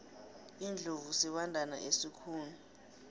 iindlovu sibandana esikhulu